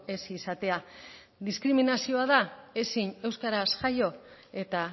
ez izatea diskriminazioa da ezin euskaraz jaio eta